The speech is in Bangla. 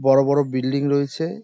বড় বড় বিল্ডিং রয়েছে।